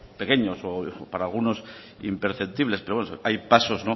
pequeños o para algunos imperceptibles pero bueno hay pasos